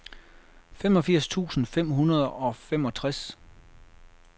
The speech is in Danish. femogfirs tusind fem hundrede og femogtres